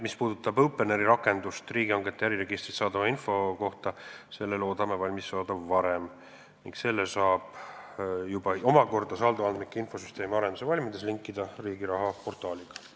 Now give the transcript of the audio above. Mis puudutab Openeri rakendust riigihangete registrist ja äriregistrist saadava info kohta, siis selle loodame valmis saada varem ning saldoandmike infosüsteemiarenduse valmides saab selle omakorda linkida Riigiraha portaaliga.